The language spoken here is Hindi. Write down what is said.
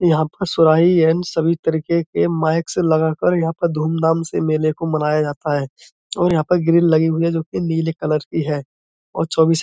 यहाँ पर सुराही है सभी तरीके के माइक्स लगा कर यहाँ पर धूम-धाम से मेले को मनाया जाता है। और यहाँ पर ग्रीन लगी हुई है जो कि नीले कलर की है और --